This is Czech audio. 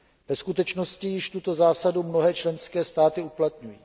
Ve skutečnosti již tuto zásadu mnohé členské státy uplatňují.